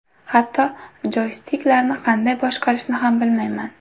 Hatto joystiklarni qanday boshqarishni ham bilmayman.